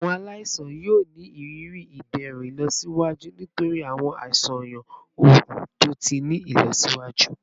Awọn alaisan yoo ni iriri iderun ilọsiwaju nitori awọn aṣayan oogun to ti ni ilọsiwaju